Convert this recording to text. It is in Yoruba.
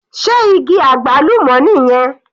Sé igi àgbálùmọ́ nìyẹn?